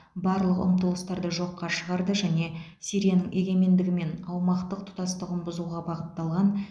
барлық ұмтылыстарды жоққа шығарды және сирияның егемендігі мен аумақтық тұтастығын бұзуға бағытталған